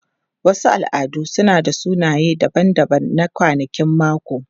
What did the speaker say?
Wasu al'adu suna da sunaye daban-daban na kwanakin mako.